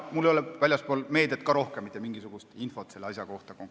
Mul ei ole peale selle, mis on meedias avaldatud, rohkem mitte mingisugust infot selle asja kohta.